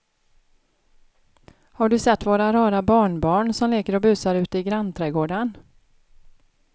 Har du sett våra rara barnbarn som leker och busar ute i grannträdgården!